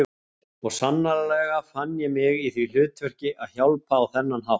Og sannarlega fann ég mig í því hlutverki að hjálpa á þennan hátt.